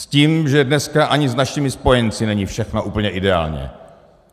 S tím, že dneska ani s našimi spojenci není všechno úplně ideální.